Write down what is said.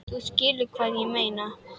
Þú skilur hvað ég meina?